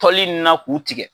Tɔli in na k'u tigɛ.